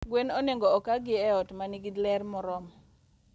Gwen onego oka gi e ot manigi ler moromo.